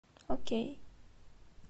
окей